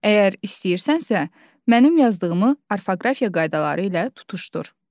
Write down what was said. Əgər istəyirsənsə, mənim yazdığımı orfoqrafiya qaydaları ilə tutuşdur.